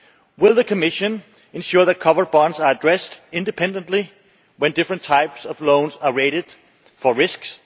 Will the Commission ensure that covered bonds are addressed independently when different types of loans are rated for risks?